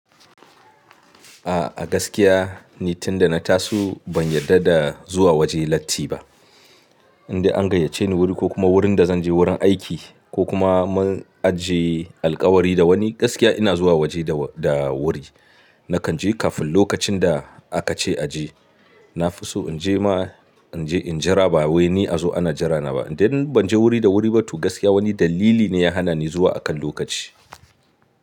A'a gaskiya ni tunda na taso ban yarda da zuwa waje latti ba. Inda an gayyace ni wuri ko kuma wurin da zan je wurin aiki ko kuma mun ajiye alkawari da wani gaskiya ina zuwa waje da wuri. Nakan je kafin lokacin da aka ce a je. Na fi so in je ma in je in jira ba wai ni a zo ana jira na ba. Inda ban je wuri da wuri ba tu gaskiya wani dalili ne ya hana ni zuwa akan lokaci.